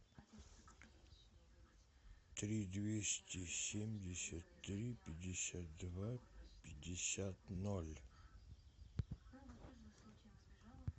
три двести семьдесят три пятьдесят два пятьдесят ноль